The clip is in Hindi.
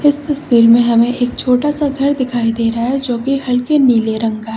इस तस्वीर में हमें एक छोटा-सा घर दिखाई दे रहा है जो की हल्के नीले रंग का है।